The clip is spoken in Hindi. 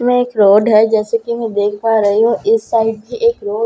में एक रोड हैं जैसे की मैं देख पा रही हूँ इस साइड बी एक रोड हैं --